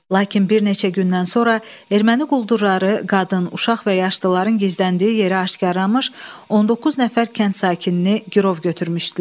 Lakin bir neçə gündən sonra erməni quldurları qadın, uşaq və yaşlıların gizləndiyi yeri aşkarlamış, 19 nəfər kənd sakinini girov götürmüşdülər.